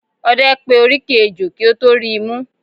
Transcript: Ọdẹ pé oríkì ẹjọ́ kí ó tọ ríi mú.